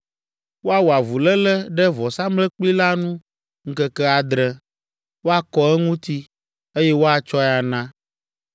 Woawɔ avuléle ɖe vɔsamlekpui la nu ŋkeke adre, wɔakɔ eŋuti, eye woatsɔe ana.